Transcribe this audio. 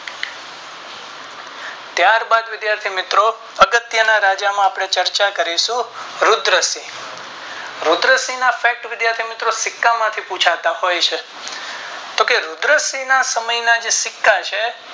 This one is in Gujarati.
ત્યાર બાદ વિધાથી મિત્રો અગત્ય ના રાજા માં આપણે ચર્ચા કરીશું રુદ્ર સિંહ રદ્રસિંહ ના ફેક્ટ વિધાથી મિત્રો સિક્કા માંથી પૂવચતા હોય છે કે જો રુદ્રસિંહ ના સમય ના જે સિક્કા છે.